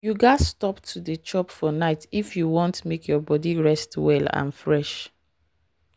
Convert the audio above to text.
you gats stop to dey chop for night if you wan make your body rest well and fresh.